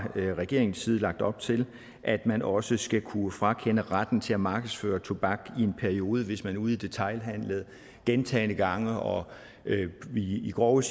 regeringens side lagt op til at man også skal kunne frakende handlende retten til at markedsføre tobak i en periode hvis man ude i detailhandelen gentagne gange og i grove